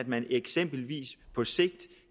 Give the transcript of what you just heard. man eksempelvis på sigt